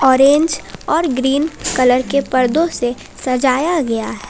Orange और green colour के पर्दों से सजाया गया है।